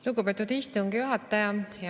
Lugupeetud istungi juhataja!